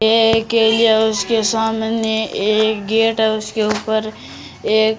एक केलिया उसके सामने एक गेट है उसके ऊपर एक --